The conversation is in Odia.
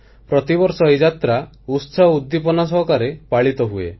ପ୍ରତିବର୍ଷ ଏହି ଯାତ୍ରା ଉତ୍ସାହ ଓ ଉଦ୍ଦୀପନା ସହକାରେ ପାଳିତ ହୁଏ